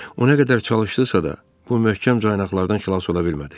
O nə qədər çalışdısa da, bu möhkəm caynaqlardan xilas ola bilmədi.